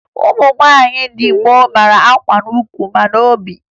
Ụmụ nwaanyị ndị gboo mara akwa n'ukwu nakwa n'obi